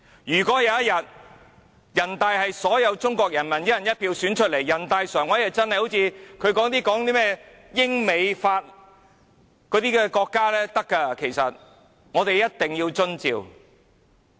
如果有一天，全國人大常委會是由所有中國人民以"一人一票"選出來，它才會真的好像他們所說的英、美、法般，可以實行"一地兩檢"。